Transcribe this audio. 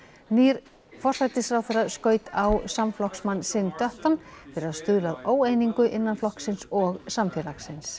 nýr forsætisráðherra skaut á samflokksmann sinn fyrir að stuðla að óeiningu innan flokksins og samfélagsins